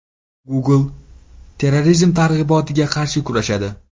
Google terrorizm targ‘ibotiga qarshi kurashadi.